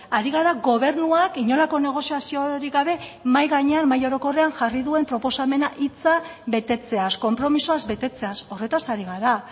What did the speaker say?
ari gara gobernuak inolako negoziaziorik gabe mahai gainean mahai orokorrean jarri duen proposamena hitza betetzeaz konpromisoaz betetzeaz horretaz ari gara